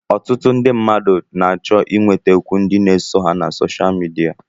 Ọtụtụ ndị mmadụ na-achọ ịnwetakwu ndị na-eso ha na sosha midia